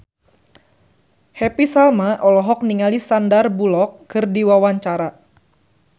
Happy Salma olohok ningali Sandar Bullock keur diwawancara